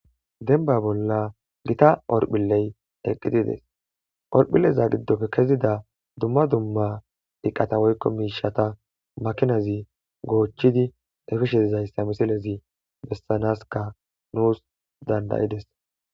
Dembba bolla gita hotiphiley eqidii dees horphileza gidoppe kezida dumma dumma eeeqata woykko miishshata maakinazi goochchodii epishe dizayssa misilezii besanasikka dandayides.